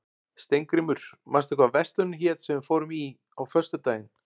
Steingrímur, manstu hvað verslunin hét sem við fórum í á föstudaginn?